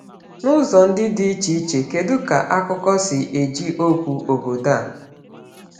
N’ụzọ ndị dị iche iche, kedu ka akụkọ si eji okwu “obodo”?